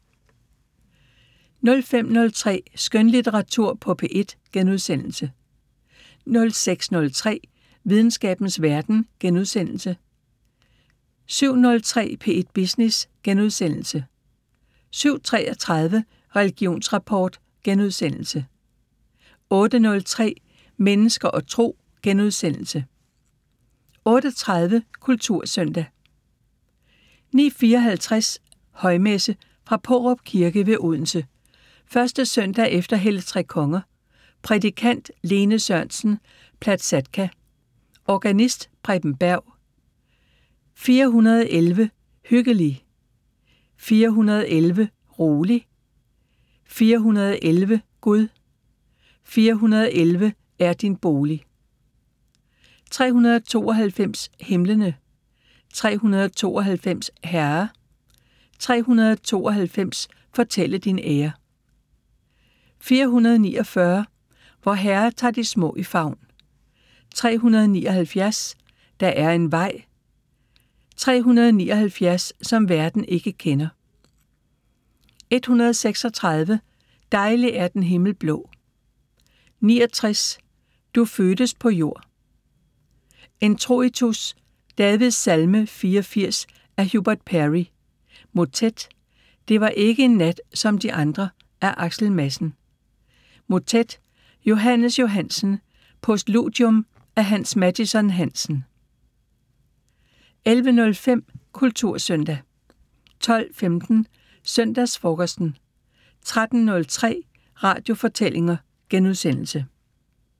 05:03: Skønlitteratur på P1 * 06:03: Videnskabens Verden * 07:03: P1 Business * 07:33: Religionsrapport * 08:03: Mennesker og Tro * 08:30: Kultursøndag 09:54: Højmesse - Fra Paarup Kirke ved Odense. 1. søndag efter helligtrekonger. Prædikant: Lene Sørensen Placatka. Organist: Preben Berg. 411: "Hyggelig. 411: rolig. 411: Gud. 411: er din bolig". 392: "Himlene. 392: Herre. 392: fortælle din ære". 449: " Vor Herre tar de små i favn". 379: "Der er en vej. 379: som verden ikke kender". 136: "Dejlig er den himmel blå". 69: "Du fødtes på jord". Introitus: "Davidssalme 84" af Hubert Parry. Motet: "Det var ikke en nat som de andre" af Axel Madsen. Motet: Johannes Johansen. Postludium af Hans Mattison-Hansen. 11:05: Kultursøndag 12:15: Søndagsfrokosten 13:03: Radiofortællinger *